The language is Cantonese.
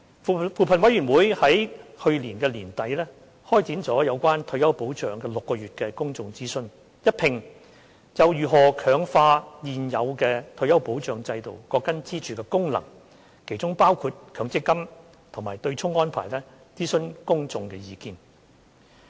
扶貧委員會於去年年底開展了有關退休保障的6個月公眾諮詢，一併就如何強化現有退休保障制度各根支柱的功能，其中包括強積金及對沖安排，諮詢公眾的意見。